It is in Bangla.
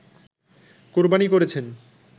কোরবানী করেছেন